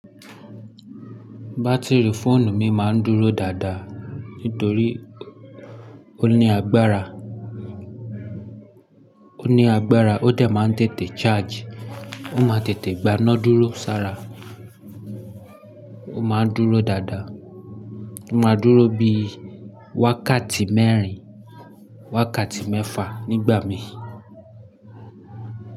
Battery phone mi máa ń dúró dáadáa nítorí ó ní agbára, ó ní agbára ó dẹ̀ máa ń tètè charge. Ó máa tètè gbaná dúró sára. Ó máa ń dúró dáadáa. Ó máa ń dúró bí i wákàtí mẹ́rin, wákàtí mẹ́fà nígbà mí.